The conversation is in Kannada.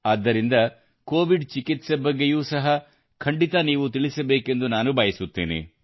ಆದ್ದರಿಂದ ಕೋವಿಡ್ ಚಿಕಿತ್ಸೆ ಬಗ್ಗೆಯೂ ಸಹ ಖಂಡಿತ ನೀವು ತಿಳಿಸಬೇಕೆಂದು ನಾನು ಬಯಸುತ್ತೇನೆ